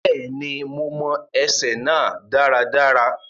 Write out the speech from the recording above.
Bẹ́ẹ̀ni, mo mọ ẹsẹ náà dáradára.